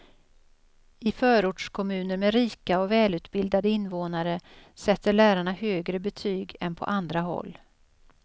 I förortskommuner med rika och välutbildade invånare sätter lärarna högre betyg än på andra håll.